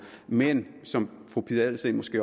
men som fru pia adelsteen måske